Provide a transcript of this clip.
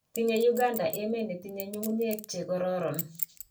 Tinyei Uganda emee ne tinye nyung'unye che kororon.